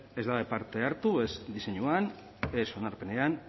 ez badute parte hartu ez diseinuan ez onarpenean